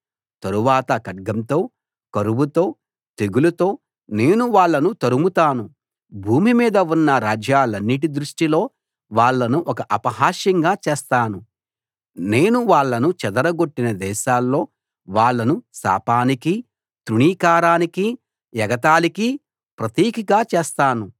తరువాత ఖడ్గంతో కరువుతో తెగులుతో నేను వాళ్ళను తరుముతాను భూమి మీద ఉన్న రాజ్యాలన్నిటి దృష్టిలో వాళ్లను ఒక అసహ్యంగా చేస్తాను నేను వాళ్ళను చెదరగొట్టిన దేశాల్లో వాళ్ళను శాపానికీ తృణీకారానికీ ఎగతాళికీ ప్రతీకగా చేస్తాను